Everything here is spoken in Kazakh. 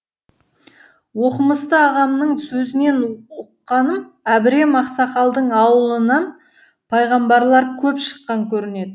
оқымысты ағамның сөзінен ұққаным әбірем ақсақалдың ауылынан пайғамбарлар көп шыққан көрінеді